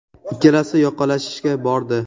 Ikkalasi yoqalashishgacha bordi.